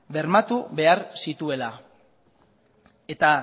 bermatu behar zituela eta